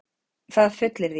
Það fullyrði ég.